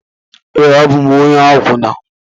Ee, abụ m onye akwụna